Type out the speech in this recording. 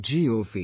gov